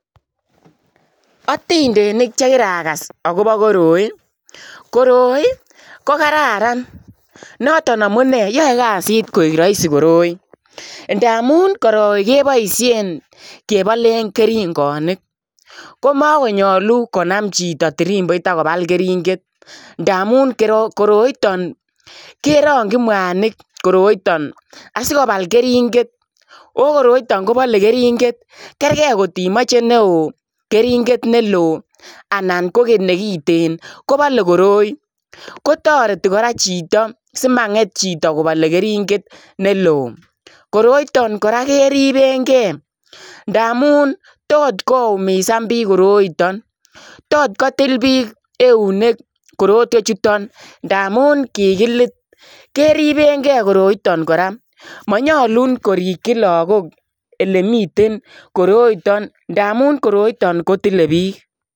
Atindeniik che kiragas agobo koroi koroi ko kararan noton amunei yae kazit koek Rahisi koroi ndamuun koroi kebaisheen kebaleen keringaniik komakonyaluu konaam chitoo tirimboit agobaaal keringeet ndamuun koroitaan kerangyiin mwanig koroitaan asikobaal keringeet ooh koroitaan kobale keringeet kergei kotimachei ne wooh keringeet ne loo anan ko keringeet nekiteen kobale koroi kotaretii kora chitoo simangeet chitoo kobale keringeet ne loo koroitaan kora keribeen gei ndamuun tot ko umisaan biik koroitaan tot kotil biik euneek korotweech chutoon ndamuun kikiliit keribeen gei koroitaan kora manyaluu komii lagook ole miii koroitaan ndamuun koroitaan ko tile biik.